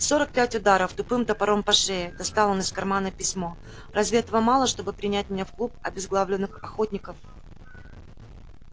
сорок пять ударов тупым топором по шее достал он из кармана письмо разве этого мало чтобы принять меня в клуб обезглавленных охотников